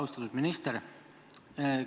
Austatud minister!